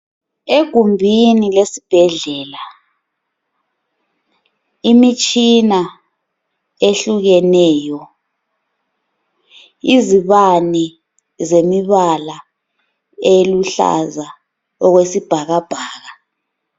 Egumbini lesibhedlela, imitshina ehlukeneyo, izibane zemibala eluhlaza okwesibhakabhaka.